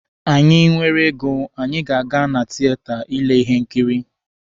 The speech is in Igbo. Anyị nwere ego, anyị ga-aga na tieta ile ihe nkiri